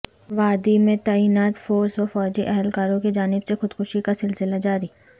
وادی میں تعینات فورسز وفوجی اہلکاروں کی جانب سے خودکشی کاسلسلہ جاری